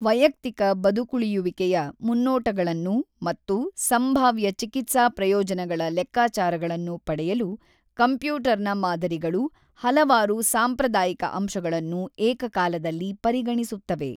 ವೈಯಕ್ತಿಕ ಬದುಕುಳಿಯುವಿಕೆಯ ಮುನ್ನೋಟಗಳನ್ನು ಮತ್ತು ಸಂಭಾವ್ಯ ಚಿಕಿತ್ಸಾ ಪ್ರಯೋಜನಗಳ ಲೆಕ್ಕಾಚಾರಗಳನ್ನು ಪಡೆಯಲು ಕಂಪ್ಯೂಟರ್‌ನ ಮಾದರಿಗಳು ಹಲವಾರು ಸಾಂಪ್ರದಾಯಿಕ ಅಂಶಗಳನ್ನು ಏಕಕಾಲದಲ್ಲಿ ಪರಿಗಣಿಸುತ್ತವೆ.